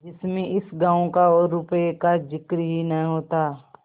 जिसमें इस गॉँव का और रुपये का जिक्र ही न होता